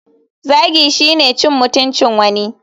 Zagi shine cin mutuncin wani.